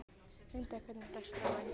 Munda, hvernig er dagskráin?